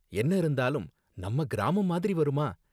என்ன இருந்தாலும் நம்ம கிராமம் மாதிரி வருமா